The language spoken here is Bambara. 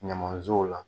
Ɲamanzow la